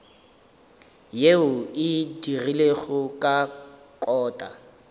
yeo e dirilwego ka kota